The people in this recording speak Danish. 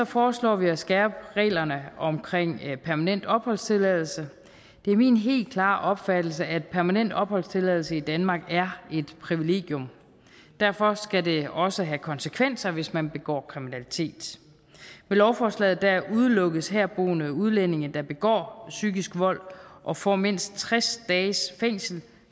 foreslår vi at skærpe reglerne omkring permanent opholdstilladelse det er min helt klare opfattelse at permanent opholdstilladelse i danmark er et privilegium derfor skal det også have konsekvenser hvis man begår kriminalitet med lovforslaget udelukkes herboende udlændinge der begår psykisk vold og får mindst tres dages fængsel